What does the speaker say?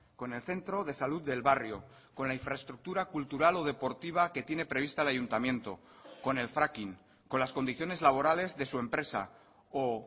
con el centro de salud del barrio con la infraestructura cultural o deportiva que tiene prevista el ayuntamiento con el fracking con las condiciones laborales de su empresa o